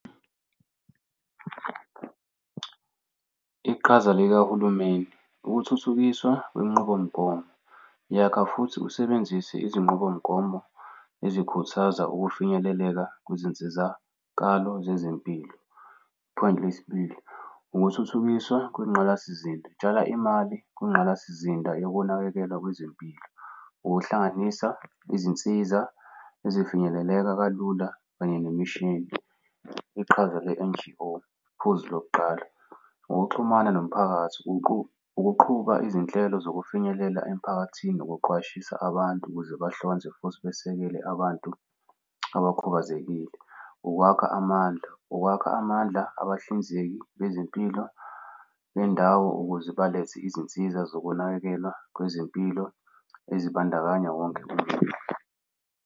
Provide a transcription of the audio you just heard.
Iqhaza likahulumeni, ukuthuthukiswa kwinqubomgomo yakha futhi usebenzise izinqubomgomo ezikhuthaza ukufinyeleleka kuzinsizakalo zezempilo. Point lesibili, ukuthuthukiswa kwingqalasizinda tsala imali kwingqalasizinda yokunakekelwa kwezempilo, ukuhlanganisa izinsiza ezifinyeleleka kalula kanye nemishini. Iqhaza le-N_G_O iphuzu lokuqala ukuxhumana nomphakathi ukuqhuba izinhlelo zokufinyelela emiphakathini ukuqwashisa abantu ukuze bahlonze futhi basekele abantu abakhubazekile. Ukwakha amandla, ukwakha amandla abahlinzeki bezempilo bendawo ukuze balethe izinsiza zokunakekelwa kwezempilo ezibandakanya wonke umuntu.